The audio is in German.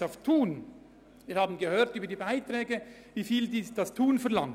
Zu Thun: Wir haben gehört, welche Gebühren die Hotelfachschule Thun verlangt.